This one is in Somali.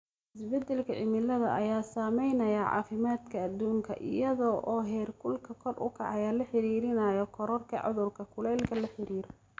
Isbeddelka cimilada ayaa saameynaya caafimaadka adduunka, iyada oo heerkulka kor u kacaya lala xiriirinayo kororka cudurrada kulaylka la xiriira.